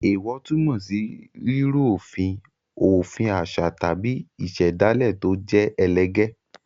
Èèwọ̀ túmọ̀ sí rírú òfin òfin àṣà tàbí ìṣẹ̀dálẹ̀ tó jẹ́ ẹlẹgẹ́.